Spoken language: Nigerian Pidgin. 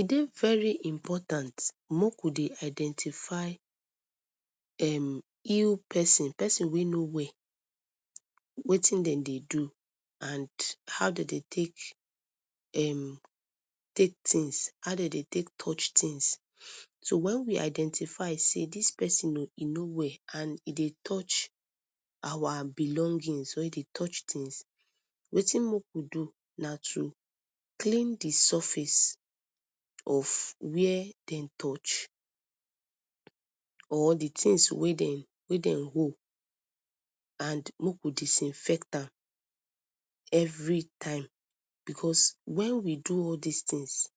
E dey very important make we dey identify um ill persin, persin wey no well wetin dem dey do and how dem dey take um take things how dem dey take touch things, so wen we identify sey dis persin oo e no well and e dey touch our belongings or e dey touch things, wetin make we do na to clean d surface of where dem touch or d things wey dem wey dem hold and make we disinfect am everytime because wen we do all dis things